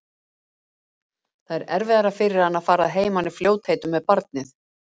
Það er erfiðara fyrir hana að fara að heiman í fljótheitum með barnið.